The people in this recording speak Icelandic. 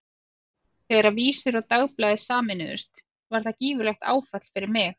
Þegar Vísir og Dagblaðið sameinuðust var það gífurlegt áfall fyrir mig.